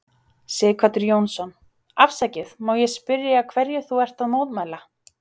Sighvatur Jónsson: Afsakið, má ég spyrja hverju þú ert að mótmæla?